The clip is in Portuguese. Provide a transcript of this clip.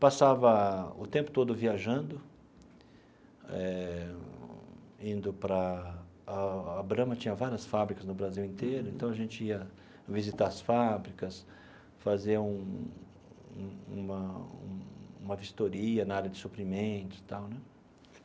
Passava o tempo todo viajando, eh indo para... A a Brahma tinha várias fábricas no Brasil inteiro, então a gente ia visitar as fábricas, fazer um um uma um uma vistoria na área de suprimentos e tal né.